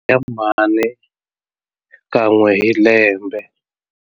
Ya mhani kan'we hi lembe.